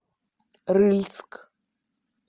рыльск